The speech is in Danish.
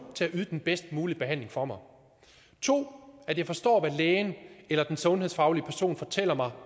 til at yde den bedst mulige behandling for mig og 2 at jeg forstår hvad lægen eller den sundhedsfaglige person fortæller mig